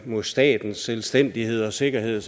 mod statens selvstændighed og sikkerhed